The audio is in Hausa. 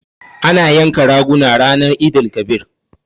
Ana yanka raguna ranan Eid-el-kabir.